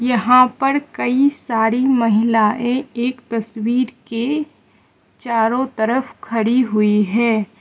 यहां पर कई सारी महिलाएं एक तस्वीर के चारों तरफ खड़ी हुई है।